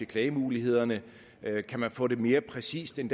klagemulighederne kan man få det oplyst mere præcist end